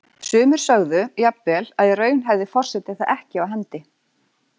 Sumir sögðu jafnvel að í raun hefði forseti það ekki á hendi.